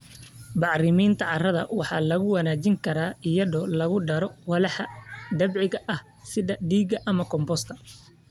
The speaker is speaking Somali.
Bacriminta carrada waxaa lagu wanaajin karaa iyadoo lagu daro walxaha dabiiciga ah sida digada ama compost.